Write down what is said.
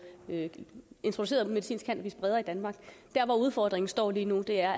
introduceret medicinsk cannabis bredere i danmark dér hvor udfordringen står lige nu er